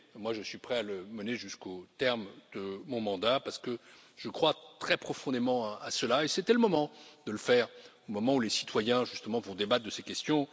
Je suis prêt à le mener jusqu'au terme de mon mandat, parce que je crois très profondément à cela et parce que c'était le moment de le faire, alors que les citoyens vont justement débattre de ces questions.